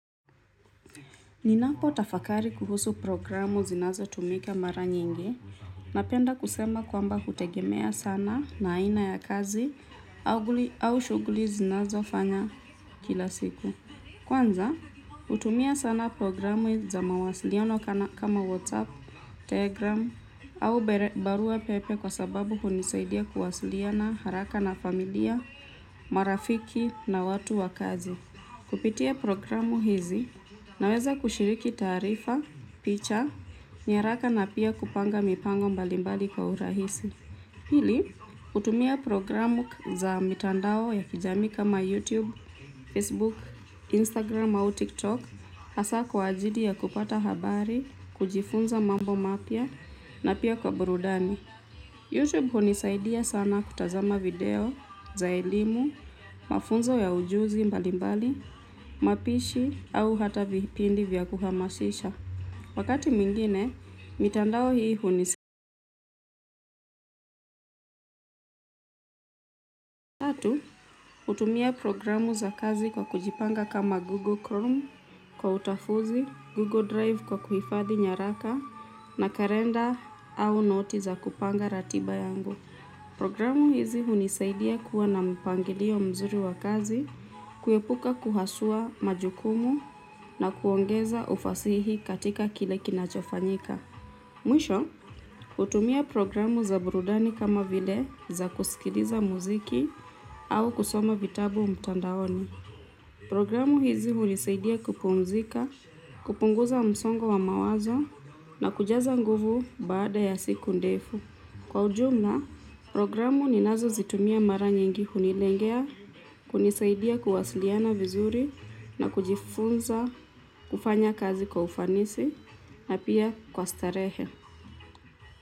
Ninapo tafakari kuhusu programu zinazo tumika mara nyingi, napenda kusema kwamba hutegemea sana na aina ya kazi au shughuli zinazofanya kila siku. Kwanza, hutumia sana programu za mawasiliano kama WhatsApp, Telegram au barua pepe kwa sababu hunisaidia kuwasiliana haraka na familia, marafiki na watu wa kazi. Kupitia programu hizi, naweza kushiriki taarifa, picha, nyaraka na pia kupanga mipango mbalimbali kwa urahisi. Hili, hutumia programu za mitandao ya kijamii kama YouTube, Facebook, Instagram au TikTok, hasa kwa ajili ya kupata habari, kujifunza mambo mapya na pia kwa burudani. Youtube hunisaidia sana kutazama video za elimu, mafunzo ya ujuzi mbalimbali, mapishi au hata vipindi vya kuhamasisha. Wakati mwingine, mitandao hii hunisaidia kutumia programu za kazi kwa kujipanga kama vile google chrome kwa utofuzi google drive kwa kuhifadhi nyaraka na kalenda au noti za kupanga ratiba yangu programu hizi hunisaidia kuwa na mpangilio mzuri wa kazi, kuepuka kuhasua majukumu na kuongeza ufasihi katika kile kinachofanyika. Mwisho, hutumia programu za burudani kama vile za kusikiliza mziki au kusoma vitabu mtandaoni. Programu hizi hunisaidia kupumzika, kupunguza msongo wa mawazo na kujaza nguvu baada ya siku ndefu. Kwa ujumla, programu ninazo zitumia mara nyingi hunilengea kunisaidia kuwasiliana vizuri na kujifunza kufanya kazi kwa ufanisi na pia kwa starehe.